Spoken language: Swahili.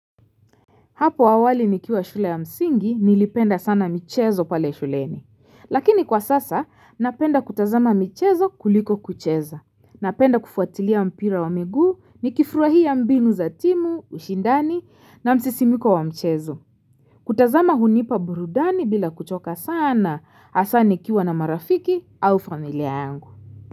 Hapo awali nikiwa shule ya msingi, nilipenda sana michezo pale shuleni. Lakini kwa sasa, napenda kutazama michezo kuliko kucheza. Napenda kufuatilia mpira wa migu, nikifurahia mbinu za timu, ushindani, na msisimko wa mchezo. Kutazama hunipa burudani bila kuchoka sana, hasa nikiwa na marafiki au familia yangu.